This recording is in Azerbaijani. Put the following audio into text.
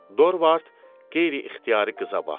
Dorvard qeyri-ixtiyari qıza baxdı.